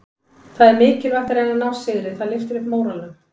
Það er mikilvægt að reyna að ná sigri, það lyftir upp móralnum.